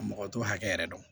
Mɔgɔ t'o hakɛ yɛrɛ dɔn